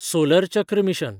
solar चक्र mission